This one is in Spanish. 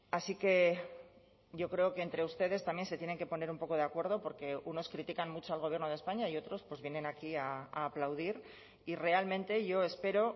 así que yo creo que entre ustedes también se tienen que poner un poco de acuerdo porque unos critican mucho al gobierno de españa y otros pues vienen aquí a aplaudir y realmente yo espero